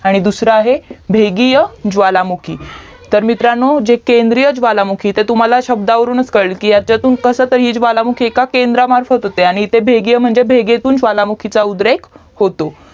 आणि दूसरा आहे भेदिय ज्वालामुखी तर मित्रांनो जे केंद्रीय ज्वालामुखी शब्दावरूनच कळेल कसतरी ज्वालामुखी केंद्रामार्फत होते आणि भेदीय ज्वालामुखी म्हणजे भेगेमधून ज्वालामुखीच उद्रेक होतो